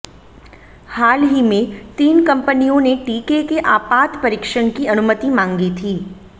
हाल ही में तीन कंपनियों ने टीके के आपात परीक्षण की अनुमति मांगी थी